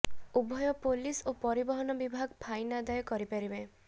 ଉଭୟ ପୋଲିସ ଓ ପରିବହନ ବିଭାଗ ଫାଇନ ଆଦାୟ କରିପାରିବେ